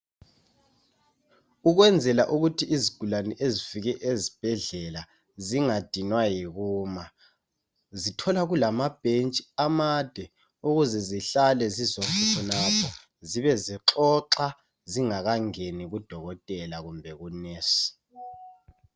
Ukwenzela ukuthi izigulane ezifike ezibhedlela zingadinwa yikuma, zithola kulama bhentshi amade ukuze zihlale zizonke khonapho zibezixoxa zingakangeni kudokotela kumbe ku"nurse".